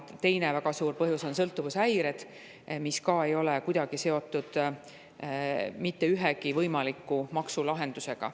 Teine väga suur põhjus on sõltuvushäired, mis ka ei ole kuidagi seotud mitte ühegi võimaliku maksulahendusega.